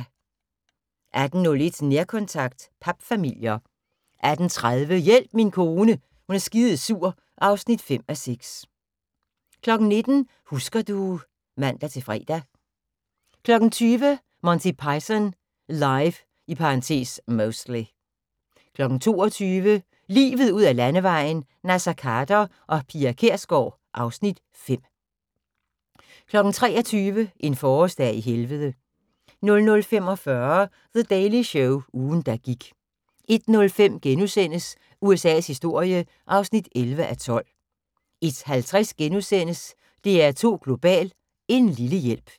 18:01: Nærkontakt – papfamilier 18:30: Hjælp min kone er skidesur (5:6) 19:00: Husker du ... (man-fre) 20:00: Monty Python Live (Mostly) 22:00: Livet ud ad Landevejen: Naser Khader og Pia Kjærsgaard (Afs. 5) 22:30: Deadline (man-søn) 23:00: En forårsdag i Helvede 00:45: The Daily Show – ugen der gik 01:05: USA's historie (11:12)* 01:50: DR2 Global: En lille hjælp *